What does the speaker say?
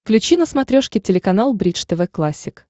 включи на смотрешке телеканал бридж тв классик